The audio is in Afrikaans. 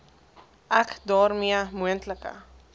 ek daarmee moontlike